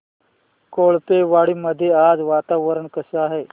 कोळपेवाडी मध्ये आज वातावरण कसे आहे